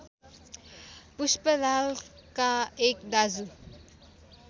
पुष्पलालका एक दाजु